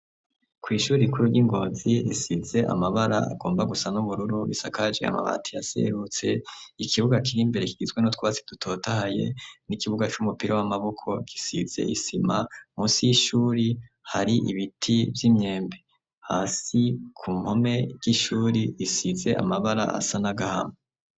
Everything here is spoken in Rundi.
Kw’ishure rikuru ryi ngozi risize amabara agomba gusa n’ubururu ,risakaje amabati yaserutse ,ikibuga kiri imbere kigizwe n’utwatsi dutotahaye ,n’ikibuga c’umupira w’amaboko gisize isima ,musi y’ishuri hari ibiti vy’imyembe, hasi ku mpome ry’ishuri risize amabara asa n’agahama.